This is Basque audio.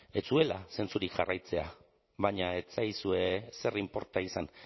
ez zuela zentzurik jarraitzea baina ez zaizue ezer inporta izan